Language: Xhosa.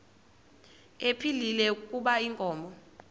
ephilile kuba inkomo